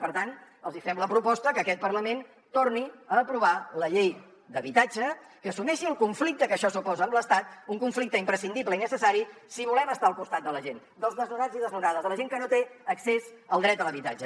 per tant els hi fem la proposta que aquest parlament torni a aprovar la llei d’habitatge que assumeixi el conflicte que això suposa amb l’estat un conflicte imprescindible i necessari si volem estar al costat de la gent dels desnonats i desnonades de la gent que no té accés al dret a l’habitatge